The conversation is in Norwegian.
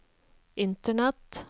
internett